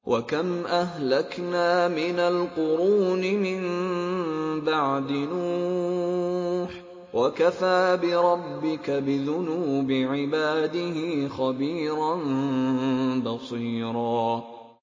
وَكَمْ أَهْلَكْنَا مِنَ الْقُرُونِ مِن بَعْدِ نُوحٍ ۗ وَكَفَىٰ بِرَبِّكَ بِذُنُوبِ عِبَادِهِ خَبِيرًا بَصِيرًا